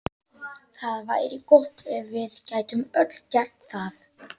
Það væri gott ef við gætum öll gert það.